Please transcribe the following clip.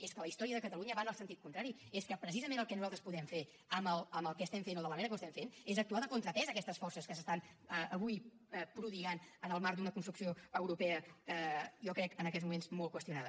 és que la història de catalunya va en el sentit contrari és que precisament el que nosaltres podem fer amb el que estem fent o de la manera que ho estem fent és actuar de contrapès a aquestes forces que s’estan avui prodigant en el marc d’una construcció europea jo crec en aquests moments molt qüestionada